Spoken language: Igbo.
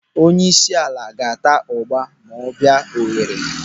Onyeisiala ga-ata ụgba ma ọ bịa Owere.